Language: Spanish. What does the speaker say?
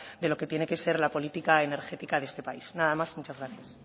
de lo que tiene que ser la política energética de este país nada más y muchas gracias